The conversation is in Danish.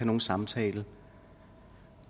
nogen samtale